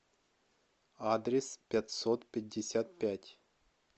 адрес пятьсот пятьдесят пять